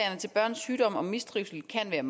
der